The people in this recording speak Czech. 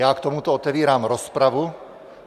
Já k tomu otevírám rozpravu.